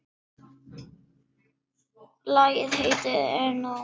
Lagið heitir Ég er nóg.